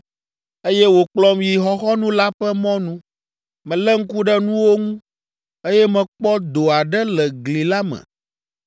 Eye wòkplɔm yi xɔxɔnu la ƒe mɔnu. Melé ŋku ɖe nuwo ŋu, eye mekpɔ do aɖe le gli la me.